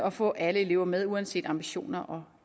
at få alle elever med uanset ambitioner og